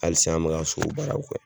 Hali sisan an mɛka sobaaraw kɛ.